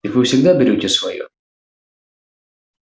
так вы всегда берёте своё